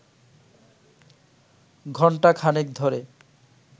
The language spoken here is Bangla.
ঘণ্টাখানেক ধরে